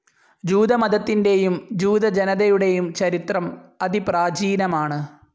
ജൂതമതത്തിന്റെയും ജൂത ജനതയുടെയും ചരിത്രം അതിപ്രാചീനമാണ്.